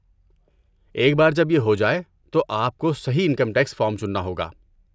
ایک بار جب یہ ہو جائے، تو آپ کو صحیح انکم ٹیکس فارم چننا ہوگا۔